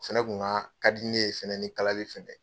fɛnɛ kun ka ka di ne ye fɛnɛ ni kalali fɛnɛ ye.